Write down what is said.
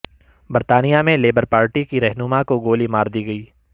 برطانیہ میں Labour Party کی رہنما کو گولی مار دی گئی